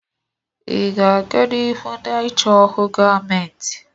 Ị ga-aga n'ihu na-achọ ọrụ gọọmentị?